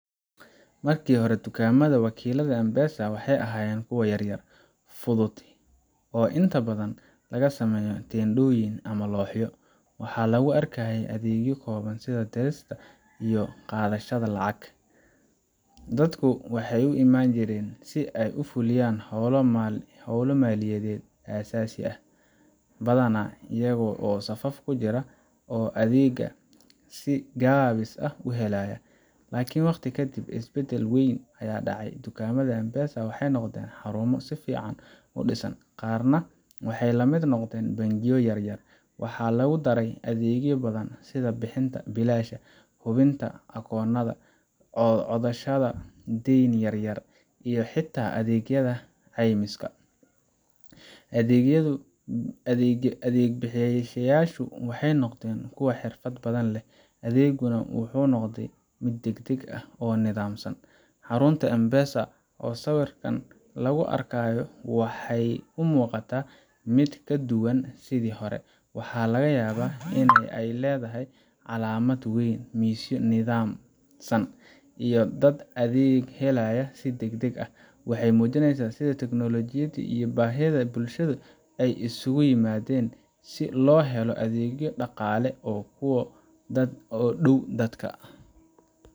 Markii hore, dukaamada wakiillada M-Pesac waxay ahaayeen kuwo yar yar, fudud oo inta badan laga sameeyay teendhooyin ama looxyo, waxaana lagu arkayay adeegyo kooban sida dirista iyo qaadashada lacag. Dadku waxay u iman jireen si ay u fuliyaan hawlo maaliyadeed aasaasi ah, badanaa iyaga oo safaf ku jira oo adeegga si gaabis ah u helaya. Laakiin waqti ka dib, isbeddel weyn ayaa dhacay. Dukaamada M-Pesa waxay noqdeen xarumo si fiican u dhisan, qaarna waxay la mid noqdeen bangiyo yar yar. Waxaa lagu daray adeegyo badan sida bixinta biilasha, hubinta akoonnada, codsashada deyn yar yar, iyo xitaa adeegyada caymiska. Adeeg bixiyayaashu waxay noqdeen kuwo xirfad badan leh, adeeguna wuxuu noqday mid degdeg ah oo nidaamsan. Xarunta M-Pesa ee sawirkan lagu arkayo waxay u muuqataa mid ka duwan sidii hore: waxaa laga yaabaa in ay leedahay calaamad weyn, miisyo nidaamsan, iyo dad adeeg helaya si degdeg ah. Waxay muujinaysaa sida tiknoolajiyada iyo baahida bulshada ay isugu yimaadeen si loo helo adeegyo dhaqaale oo ku dhow dadka.